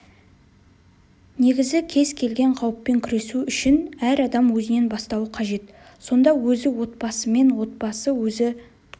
негізі кез келген қауіппен күресу үшін әр адам өзінен бастауы қажет сонда өзі отбасымен отбасы өзі